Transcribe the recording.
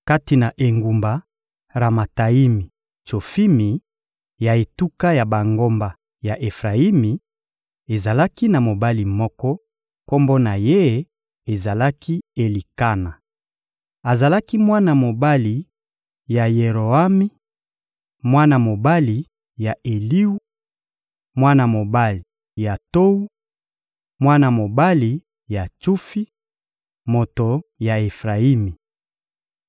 Kati na engumba Ramataimi-Tsofimi ya etuka ya bangomba ya Efrayimi, ezalaki na mobali moko; kombo na ye ezalaki «Elikana.» Azalaki mwana mobali ya Yeroami, mwana mobali ya Eliwu, mwana mobali ya Towu, mwana mobali ya Tsufi, moto ya Efrayimi.